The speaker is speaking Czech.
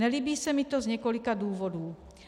Nelíbí se mi to z několika důvodů.